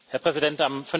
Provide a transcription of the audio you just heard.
Herr Präsident!